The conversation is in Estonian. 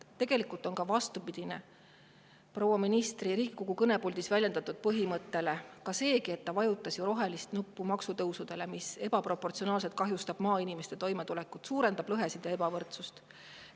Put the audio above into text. Tegelikult on vastupidine proua ministri Riigikogu kõnepuldis väljendatud põhimõttele ka see, et ta vajutas rohelist nuppu maksutõusudele, mis ebaproportsionaalselt kahjustavad maainimeste toimetulekut, suurendavad lõhesid ja ebavõrdsust.